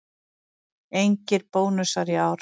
Engir bónusar í ár